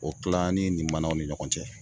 O kila an' ni limanaw ni ɲɔgɔn cɛ.